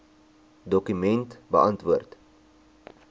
dokument beantwoord